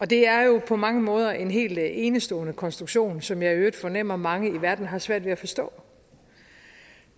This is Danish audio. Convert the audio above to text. det er jo på mange måder en helt enestående konstruktion som jeg i øvrigt fornemmer mange i verden har svært ved at forstå